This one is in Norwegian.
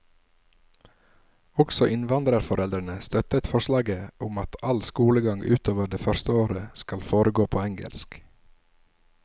Også innvandrerforeldrene støttet forslaget om at all skolegang utover det første året skal foregå på engelsk.